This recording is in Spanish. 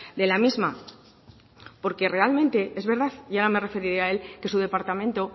de la misma porque realmente es verdad y ahora me referiré a él que su departamento